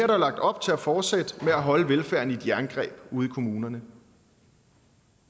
der lagt op til at fortsætte med at holde velfærden i et jerngreb ude i kommunerne